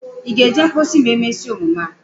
Ị ga-eje mposi ma e mesia emume a?